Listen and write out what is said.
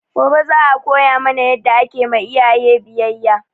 Gobe za a koya mana yadda ake ma iyaye biyayya